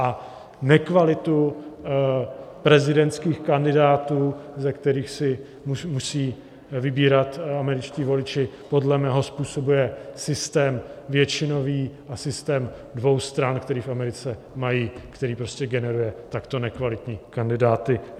A nekvalita prezidentských kandidátů, ze kterých si musí vybírat američtí voliči, podle mého způsobu je systém většinový a systém dvou stran, který v Americe mají, který prostě generuje takto nekvalitní kandidáty.